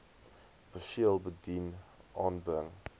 perseel bedien aanbring